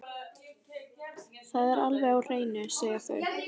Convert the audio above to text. Það er alveg á hreinu, segja þau.